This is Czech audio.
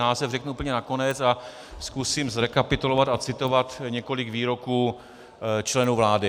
Název řeknu úplně na konec a zkusím zrekapitulovat a citovat několik výroků členů vlády.